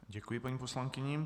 Děkuji paní poslankyni.